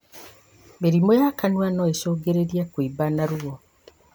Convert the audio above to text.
Mĩrimũ ya kanua noĩcũngĩrĩrie kũimba na ruo